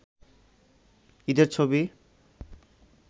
ঈদের ছবি